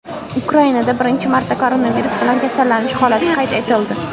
Ukrainada birinchi marta koronavirus bilan kasallanish holati qayd etildi.